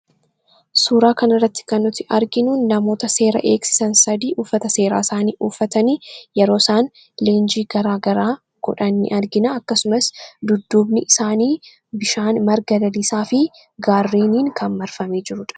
Suuraa kana irratti kan nuti arginuun namoota seera eeksisan Sadii uffata seeraa isaanii uffatanii yeroo isaan leenjii garaa garaa godhan argina. akkasumas dudduubni isaanii bishaan, marga lalisaa fi gaarreeniin kan marfamee jirudha.